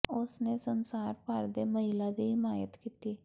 ਉਸ ਨੇ ਸੰਸਾਰ ਭਰ ਦੇ ਮਹਿਲਾ ਦੀ ਹਿਮਾਇਤ ਕੀਤੀ